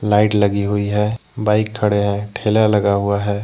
Light लगी हुई है बाइक खड़े है ठेला लगा हुआ है।